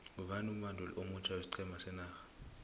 ngubani umbanduli omutjha wesiqhema senorha